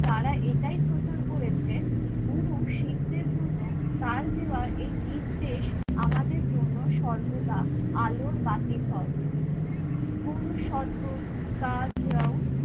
তারা এটাই প্রচার করেছে, গুরু শিখদের জন্য তার দেওয়া এই নির্দেশ আমাদের জন্য সর্বদা আলোর বাতি হয়। গুরু